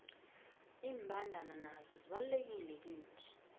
imbandana nazo zibalulekile kithi